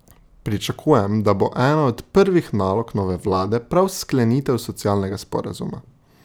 Pričakujem, da bo ena od prvih nalog nove vlade prav sklenitev socialnega sporazuma.